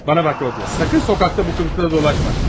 Mənə bax, Rodiya, əsla küçədə bu qiyafətlə dolaşma.